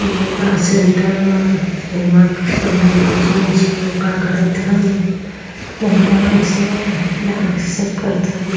Vivo का centre बा का करत है नहीं डांस बा डांस से --